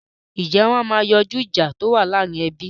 Ǹjẹ́ wọn máa yanjú ìjà tí ó wà láàrin ẹbí?